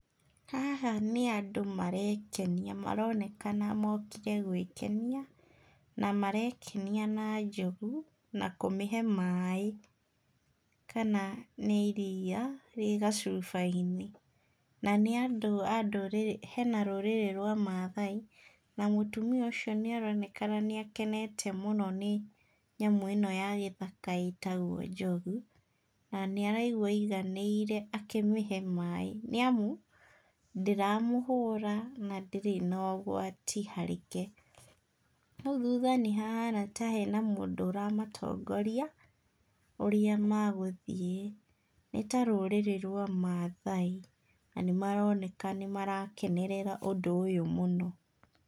Haha nĩ andũ marekenia maronekana mokire gwĩkenia, na marekenia na njogu, na kũmĩhe maĩ, kana nĩ iria rĩ gacuba-inĩ. Na nĩ andũ a ndũrĩrĩ, hena rũrĩrĩ rwa mathai, na mũtumia ũcio nĩ aronekana nĩ akenete mũno nĩ nyamũ ĩ no ya gĩthaka ĩtagwo njogu, na nĩ araigua aiganĩire akĩmĩhe maĩ, nĩamu, ndĩramũhũra na ndĩrĩ na ũgwati harĩ ke. Hau thutha nĩ hahana ta he mũndũ ũramatongoria, ũrĩa magũthiĩ. Nĩ ta rũrĩrĩ rwa mathai na nĩ maroneka nĩ marakenerera ũndũ ũyũ mũno.